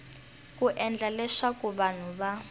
ku endla leswaku vanhu va